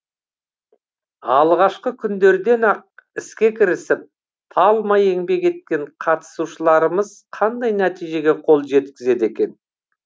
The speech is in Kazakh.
алғашқы күндерден ақ іске кірісіп талмай еңбек еткен қатысушаларымыз қандай нәтижеге қол жеткізді екен